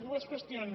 dues qüestions